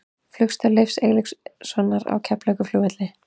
Flugstöð Leifs Eiríkssonar á Keflavíkurflugvelli.